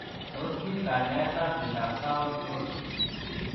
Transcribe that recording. Tos me kanyaet ap miondoop Taons Broks?